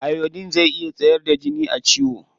Iodine zai iya tsayar da jini a ciwo.